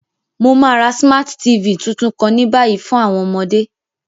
Mo ma ra Smart TV tuntun kan ni bayi fun àwọn ọmọde.